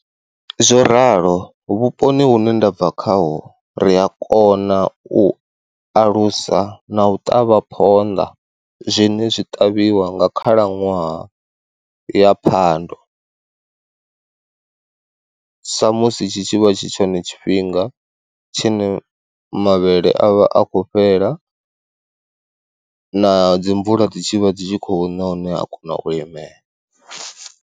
Zwo ralo, vhuponi hune ndabva khaho ri a kona u alusa na u ṱavha phonḓa zwine zwi ṱavhiwa nga khalaṅwaha ya phando. sa musi tshi tshivha tshi tshone tshifhinga tshine mavhele a vha a khou fhela na dzi mvula dzi tshivha dzi tshi khou ṋa hune ha kona u limea.